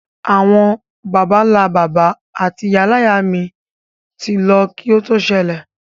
Àwon bàbánlá-bàbá áti ìyáláyá mi ti lo ki o to sẹlẹ̀